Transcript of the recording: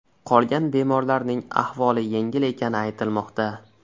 Qolgan bemorlarning ahvoli yengil ekani aytilmoqda.